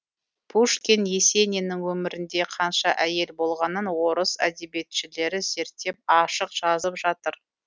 пушкин есениннің өмірінде қанша әйел болғанын орыс әдебиетшілері зерттеп ашық жазып жатыр